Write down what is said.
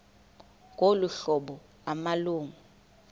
ngolu hlobo amalungu